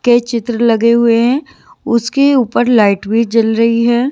के चित्र लगे हुए हैं उसके ऊपर लाइट भी जल रही है।